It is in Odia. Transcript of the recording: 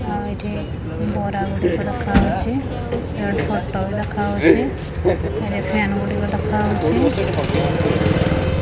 ଆଉ ଏଠି ବରା ଗୁଡିକ ଦେଖାହଉଛି ଆଉ ଏଠି ଫଟ ବି ଦେଖାହଉଛି ଏଠି ଫେନ ଗୁଡିକ ଦେଖାହଉଛି।